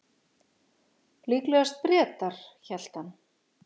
Líklegast Bretar, hélt hann.